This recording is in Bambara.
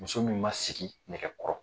Muso min ma sigi nɛgɛ kɔrɔ